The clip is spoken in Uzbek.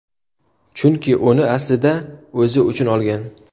Chunki uni aslida o‘zi uchun olgan.